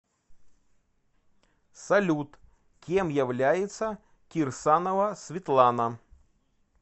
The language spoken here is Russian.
салют кем является кирсанова светлана